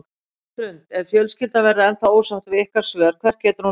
Hrund: Ef fjölskyldan verður ennþá ósátt við ykkar svör, hvert getur hún leitað?